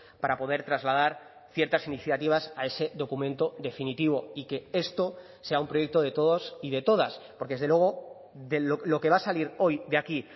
para poder trasladar ciertas iniciativas a ese documento definitivo y que esto sea un proyecto de todos y de todas porque desde luego lo que va a salir hoy de aquí